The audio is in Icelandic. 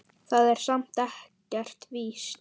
Það er samt ekkert víst.